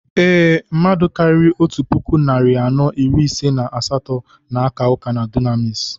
Ee, mmadụ karịrị otu puku narị anọ iri ise na asatọ na-aka ụka na Dunamis.